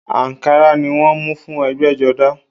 Àǹkárá ni wọ́n mú fún ẹ̀gbẹ́jọdá